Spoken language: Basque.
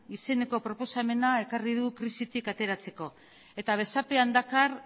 izeneko proposamena ekarri du krisitik ateratzeko eta besapean dakar